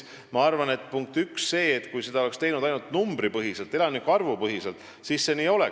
Ma arvan, et kui seda oleks tehtud ainult numbripõhiselt, elanike arvu põhiselt, siis see nii oleks.